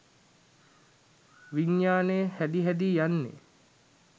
විඤ්ඤාණය හැදි හැදී යන්නේ.